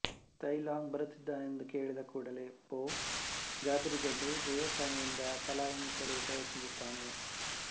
tie Lung ಬರುತ್ತಿದ್ದಾನೆಂದು ಕೇಳಿದ ಕೂಡಲೆ ಪೊ ಗಾಬರಿಗೊಂಡು ದೇವಸ್ಥಾನದಿಂದ ಪಲಾಯನಿಸಲು ಪ್ರಯತ್ನಿಸುತ್ತಾನೆ